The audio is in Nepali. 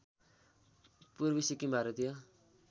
पूर्वी सिक्किम भारतीय